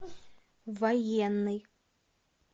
военный